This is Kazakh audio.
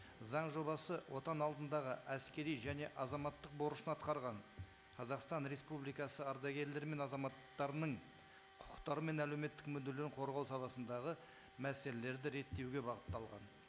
заң жобасы отан алдындағы әскери және азаматтық борышын атқарған қазақстан республикасы ардагерлері мен азаматтарының құқықтары мен әлеуметтік мүдделерін қорғау саласындағы мәселелерді реттеуге бағытталған